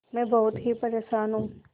मैं बहुत ही परेशान हूँ